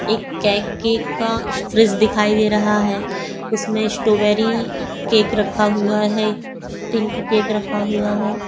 एक केक की का फ्रिज दिखाई दे रहा है उसमें स्ट्रॉबेरी केक रखा हुआ है एक पिंक केक रखा हुआ है।